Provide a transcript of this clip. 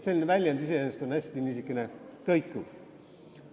Selline väljend on iseenesest hästi kõikuv.